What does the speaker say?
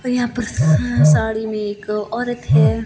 यहां पर स साड़ी में एक औरत है।